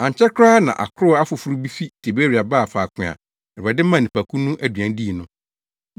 Ankyɛ koraa na akorow afoforo bi fi Tiberia baa faako a Awurade maa nnipakuw no aduan dii no.